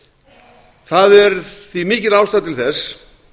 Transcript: minjaríki það er því mikil ástæða til þess